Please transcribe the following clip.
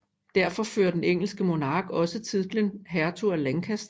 Derfor fører den engelske monark også titlen Hertug af Lancaster